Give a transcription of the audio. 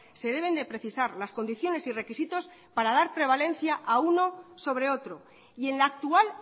se deben de precisar las condiciones y requisitos para dar prevalencia a uno sobre otro y en la actual